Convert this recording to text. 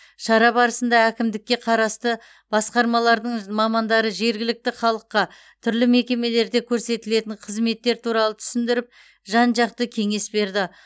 шара барысында әкімдікке қарасты басқармалардың мамандары жергілікті халыққа түрлі мекемелерде көрсетілетін қызметтер туралы түсіндіріп жан жақты кеңес берді